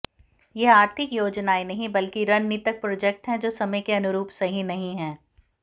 यह आर्थिक योजनाएँ नहीं बल्कि रणनीतक प्रोजैक्ट हैं जो समय के अनुरूप सही नहीं हैं